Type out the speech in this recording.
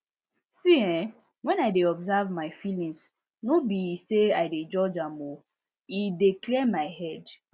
see[um]when i dey observe my feelings no be say i dey judge am e dey clear my head